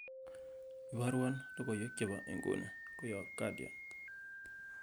iborwon logoiwek chepo inguni koyob guardian